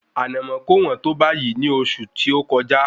Ànàmọ́ kò wọ́n tó báyìí ní oṣù tí ó kọjá